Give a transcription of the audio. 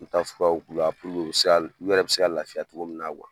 I be taa furaw k'u la u bi se ka u yɛrɛ bi se ka lafiya togo min na